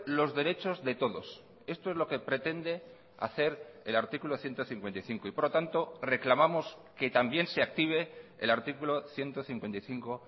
los derechos de todos esto es lo que pretende hacer el artículo ciento cincuenta y cinco y por lo tanto reclamamos que también se active el artículo ciento cincuenta y cinco